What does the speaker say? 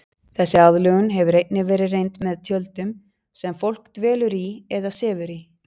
Þessi aðlögun hefur einnig verið reynd með tjöldum sem fólk dvelur í eða sefur í.